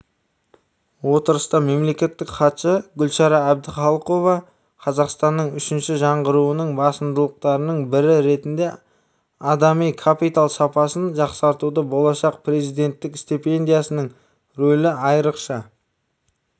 отырыста мемлекеттік хатшы гүлшара әбдіқалықова қазақстанның үшінші жаңғыруының басымдықтарының бірі ретінде адами капитал сапасын жақсартуда болашақ президенттік стипендиясының рөлі айрықша